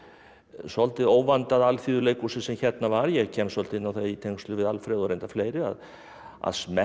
svolítið óvandaða sem hérna var ég kem svolítið inn á það í tengslum við Alfred og reyndar fleiri að smekkur